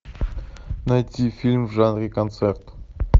найти фильм в жанре концерт